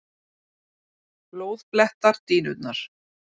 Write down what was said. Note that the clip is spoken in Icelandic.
Blóð blettar dýnurnar.